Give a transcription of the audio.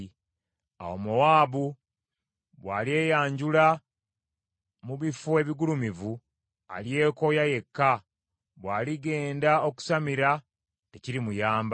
Awo Mowaabu bw’alyeyanjula, mu bifo ebigulumivu, alyekooya yekka; bw’aligenda okusamira, tekirimuyamba.